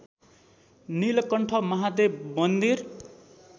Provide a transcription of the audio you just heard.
नीलकण्ठ महादेव मन्दिर